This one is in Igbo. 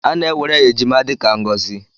A na-ewere ejima dị ka ngọzi.